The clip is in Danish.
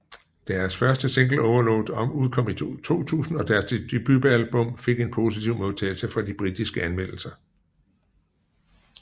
Deres første single Overload udkom i 2000 og deres debutalbum fik en postiv modtagelse fra de britiske anmeldere